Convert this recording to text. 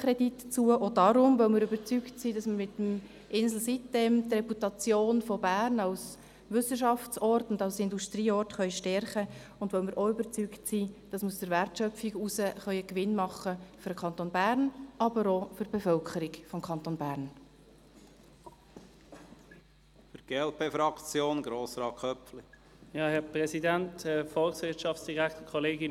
Dies auch deshalb, weil wir überzeugt sein, dass wir mit sitem-Insel die Reputation Berns als Ort der Wissenschaft und der Industrie stärken können, und weil wir auch davon überzeugt sind, dass wir aus der Wertschöpfung einen Gewinn für den Kanton Bern ziehen können, aber auch für die Bevölkerung des Kantons Bern.